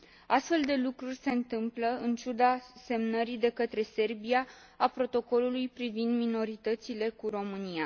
Astfel de lucruri se întâmplă în ciuda semnării de către Serbia a protocolului privind minoritățile cu România.